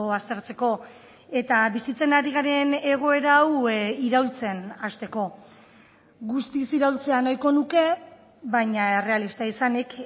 aztertzeko eta bizitzen ari garen egoera hau iraultzen hasteko guztiz iraultzea nahiko nuke baina errealista izanik